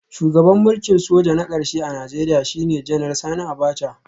Shugaban mulkin soja na karshe a Najeriya shine Janar Sani Abacha